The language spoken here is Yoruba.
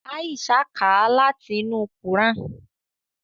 Aisha ká láti inú kuran.